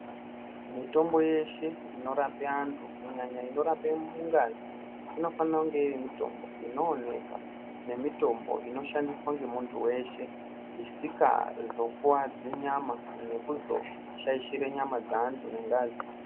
Mitombo yeshe inorape antu kunyanye inorape ngazi inofane kunge iri mitombo inooneka nemitombo inoshandiswa ngeantu eshe isikazokuadzi nyama nekuzoshaishira nyama dzaantu nengazi.